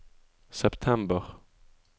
september